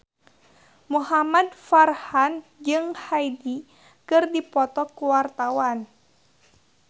Muhamad Farhan jeung Hyde keur dipoto ku wartawan